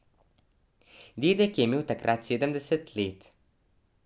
Dedek je imel takrat sedemdeset let.